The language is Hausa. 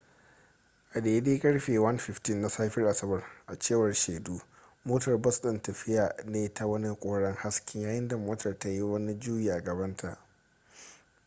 a daidai karfe 1:15 na safiyar asabar a cewar shaidu motar bas din na tafiya ne ta wani koren haske yayin da motar ta yi wani juyi a gabanta